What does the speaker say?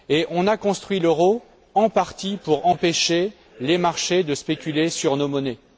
On a construit l'euro, en partie, pour empêcher les marchés de spéculer sur nos monnaies.